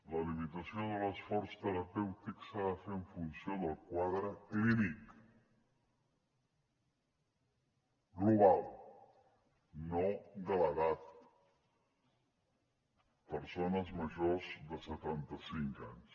la limitació de l’esforç terapèutic s’ha de fer en funció del quadre clínic global no de l’edat persones majors de setanta cinc anys